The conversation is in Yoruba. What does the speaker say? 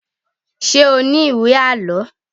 Ṣé o ní ìwé àlọ́?